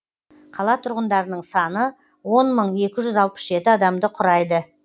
қала тұрғындарының саны он мың екі жүз алпыс жеті адамды құрайды